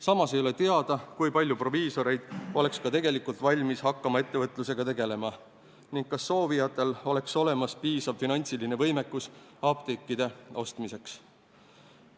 Samas ei ole teada, kui palju proviisoreid oleks ka tegelikult valmis hakkama ettevõtlusega tegelema ning kas soovijatel oleks olemas piisav finantsiline võimekus apteekide ostmiseks.